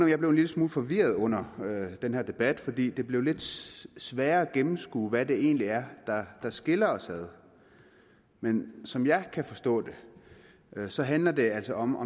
jeg blev en lille smule forvirret under den her debat for det blev lidt sværere at gennemskue hvad det egentlig er der skiller os ad men som jeg kan forstå så handler det altså om